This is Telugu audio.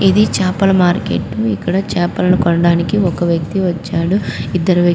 ఇది చేపల మార్కెట్టు ఇక్కడ చేపలను కొనడానికి ఒక వ్యక్తి వచ్చాడు ఇద్దరు వ్యక్ --